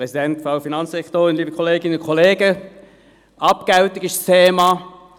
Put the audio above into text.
Kommissionssprecher der FiKo-Minderheit. Abgeltung ist das Thema.